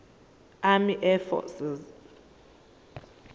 army air forces